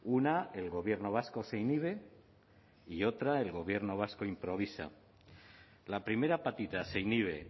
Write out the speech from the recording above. una el gobierno vasco se inhibe y otra el gobierno vasco improvisa la primera patita se inhibe